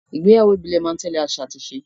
Ìgbéyàwó ìbílẹ̀ máa ń tẹ́lẹ̀ àṣà àti ìṣe